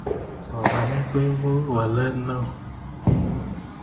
somanet koipu walet neo